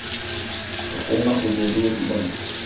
пошёл нахуй долбаёб ебаный